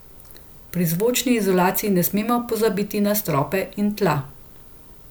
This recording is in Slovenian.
Pri zvočni izolaciji ne smemo pozabiti na strope in tla.